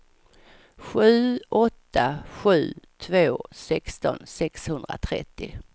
sju åtta sju två sexton sexhundratrettio